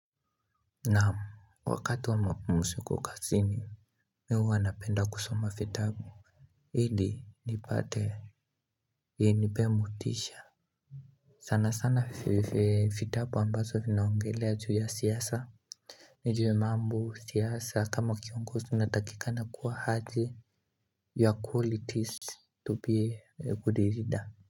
Naamu wakati wa mapumziko kazini Mimi huwa napenda kusoma vitabu ilinipate vinipe motisha sana sana vitabu ambavyo vinaongelea juu ya siasa ni juwe mambo siasa kama kiongozi tunatakika na kuwa haji ya qualities Tupie kudirida.